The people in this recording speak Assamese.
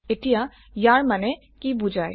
এতিয়া ইয়াৰ মানে কি বুজায়